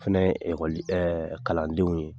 Fɛnɛ ye ekɔli kalandenw ye.